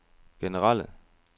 generelle